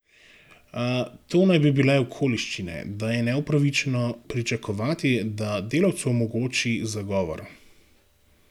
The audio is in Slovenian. To naj bi bile okoliščine, da je neupravičeno pričakovati, da delavcu omogoči zagovor.